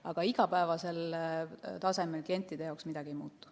Aga igapäevasel tasemel klientide jaoks midagi ei muutu.